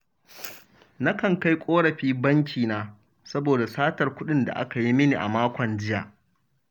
Nakan kai ƙorafi bankina, saboda satar kuɗin da aka yi mini a makon jiya